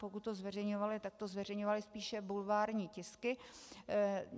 Pokud se zveřejňovaly, tak to zveřejňovaly spíše bulvární tisky.